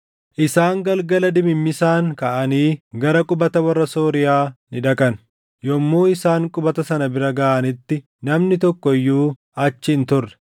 Isaan galgala dimimmisaan kaʼanii gara qubata warra Sooriyaa ni dhaqan. Yommuu isaan qubata sana bira gaʼanitti namni tokko iyyuu achi hin turre;